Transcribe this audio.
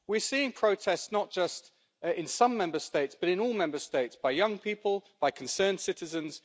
We are seeing protests, not just in some Member States, but in all Member States, by young people, by concerned citizens.